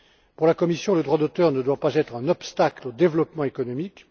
Pour la Commission, le droit d'auteur ne doit pas être un obstacle au développement économique.